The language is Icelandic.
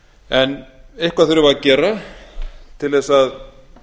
en eitthvað þurfum við að gera til þess að